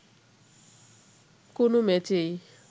কোনো ম্যাচেই